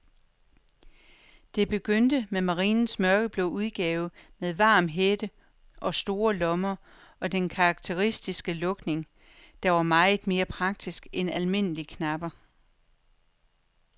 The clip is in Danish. Det begyndte med marinens mørkeblå udgave med varm hætte og store lommer og den karakteristiske lukning, der var meget mere praktisk end almindelige knapper.